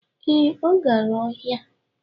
Ee, ọ gara ọhịa